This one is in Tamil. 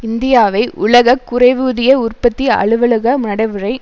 இந்தியாவை உலக குறைவூதிய உற்பத்தி அலுவலக நடைமுறை